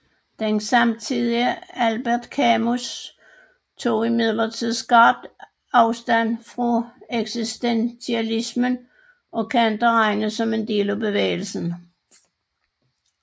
Den samtidige Albert Camus tog imidlertid skarpt afstand fra eksistentialismen og kan ikke regnes som en del af bevægelsen